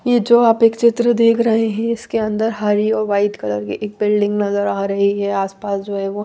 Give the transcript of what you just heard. ये जो आप एक चित्र देख रहे है इसके अंदर हरी और व्हाइट कलर की एक बिल्डिंग नजर आ रही है आस पास जो है वो--